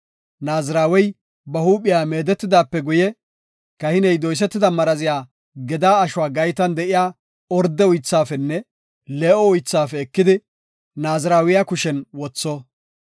“Naazirawey ba huuphiya meedetidaape guye, kahiney doysetida maraziya gedaa ashuwa gaytan de7iya orde uythaafenne lee7o uythaafe ekidi, Naazirawiya kushen wotho.